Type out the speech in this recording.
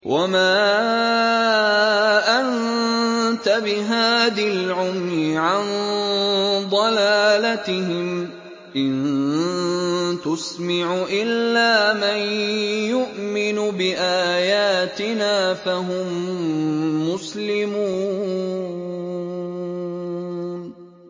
وَمَا أَنتَ بِهَادِي الْعُمْيِ عَن ضَلَالَتِهِمْ ۖ إِن تُسْمِعُ إِلَّا مَن يُؤْمِنُ بِآيَاتِنَا فَهُم مُّسْلِمُونَ